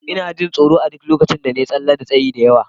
Ina jin tsoro a duk lokacin da na yi tsalle da tsayi da yawa.